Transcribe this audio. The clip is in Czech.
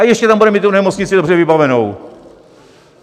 A ještě tam bude mít tu nemocnici dobře vybavenou.